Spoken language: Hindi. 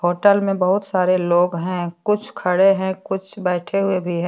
होटल में बहोत सारे लोग हैं कुछ खड़े हैं कुछ बैठे हुए भी हैं।